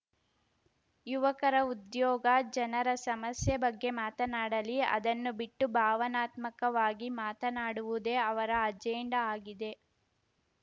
ಯುವಕರ ಉದ್ಯೋಗ ಜನರ ಸಮಸ್ಯೆ ಬಗ್ಗೆ ಮಾತನಾಡಲಿ ಅದನ್ನು ಬಿಟ್ಟು ಭಾವನಾತ್ಮಕವಾಗಿ ಮಾತನಾಡುವುದೇ ಅವರ ಅಜೆಂಡಾ ಆಗಿದೆ